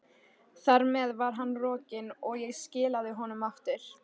Þar með var hann rokinn, og ég skilaði honum aftur.